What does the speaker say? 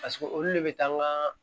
Paseke olu de bɛ taa n ka